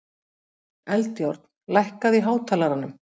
Eldjárn, lækkaðu í hátalaranum.